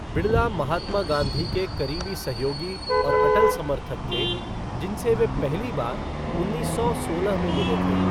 बिरला महात्मा गांधी के करीबी सहयोगी और अटल समर्थक थे, जिनसे वे पहली बार उन्नीस सौ सोलह में मिले थे।